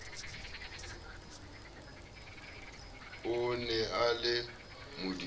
e ne e le modumedi